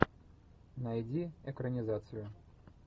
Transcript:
найди экранизацию